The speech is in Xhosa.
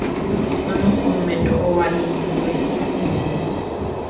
unorhulumente owanyulwe sisininzi